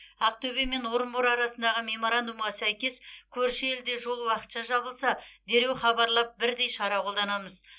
ақтөбе мен орынбор арасындағы меморандумға сәйкес көрші елде жол уақытша жабылса дереу хабарлап бірдей шара қолданамыз